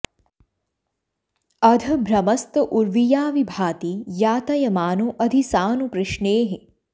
अध भ्रमस्त उर्विया वि भाति यातयमानो अधि सानु पृश्नेः